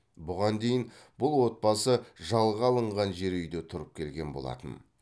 бұған дейін бұл отбасы жалға алынған жер үйде тұрып келген болатын